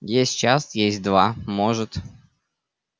есть час есть два может